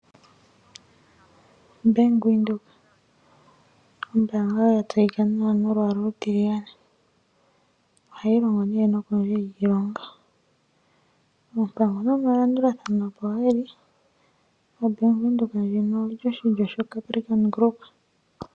Bank Windhoek ombaanga yatseyika nawa nolwaala olutiligane, ohayi longo ne nokundje yiilongo. Ompango nomalandulathano opo geli. OBank Windhoek ndjika oyili oshilyo Capricon Group.